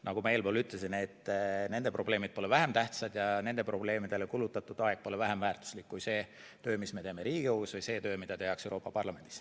Nagu ma eespool ütlesin, siis nende probleemid pole vähem tähtsad ja nende probleemidele kulutatud aeg pole vähem väärtuslik kui see töö, mis me teeme Riigikogus, või see töö, mida tehakse Euroopa Parlamendis.